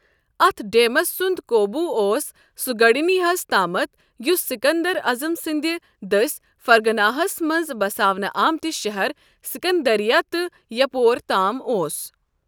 Euthydemus سُند قوبوُ اوس سوگڈینیاہس تامتھ ، یُس سِكندر عظم سندِ دٔسہۍ فرغانہَس مَنٛزبساونہٕ آمتہِ شہر سِكندریہ تہِ یپور تام اوس ۔